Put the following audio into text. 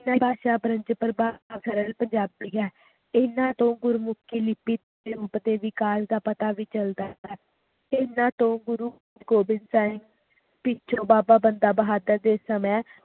ਇਹਨਾਂ ਤੋਂ ਗੁਰਮੁਖੀ ਲਿਪੀ ਦੇ ਵਿਕਾਸ ਦਾ ਪਤਾ ਵੀ ਚਲਦਾ ਹੈ ਹਨ ਤੋਂ ਗੁਰੂ ਗੋਬਿੰਦ ਸਾਹਿਬ ਵਿਚ ਬਾਬਾ ਬੰਦਾ ਬਹਾਦੁਰ ਦੇ ਸਮੇ